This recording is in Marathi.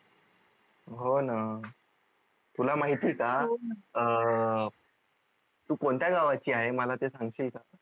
हो न तुला माहिती आहे का अं तू कोणत्या गावाची आहे मला ते सांगशील का?